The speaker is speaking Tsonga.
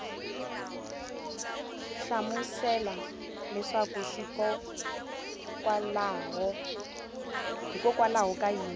hlamusela leswaku hikokwalaho ka yini